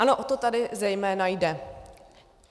Ano, o to tady zejména jde.